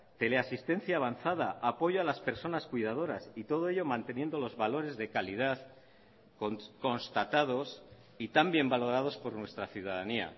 teleasistencia avanzada apoyo a las personas cuidadoras y todo ello manteniendo los valores de calidad constatados y tan bien valorados por nuestra ciudadanía